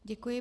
Děkuji.